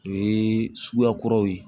O ye suguya kuraw ye